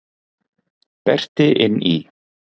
Berti inn í.